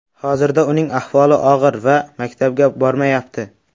Hozirda uning ahvoli og‘ir va maktabga bormayapti.